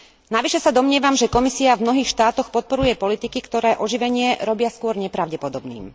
Navyše sa domnievam, že Komisia v mnohých štátoch podporuje politiky, ktoré oživenie robia skôr nepravdepodobným.